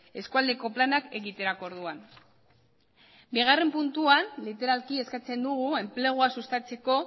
eskualdeko planak egiterako orduan bigarren puntuan literalki eskatzen dugu enplegua sustatzeko